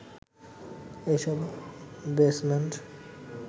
এই সব বেসমেন্ট